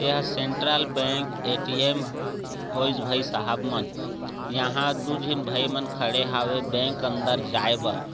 यहा central bank ATM होय भाई सहाब मन यहा दु जन भाई मन खड़े हावे बैंक अंदर जाय बर।